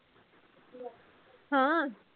ਹਾਂ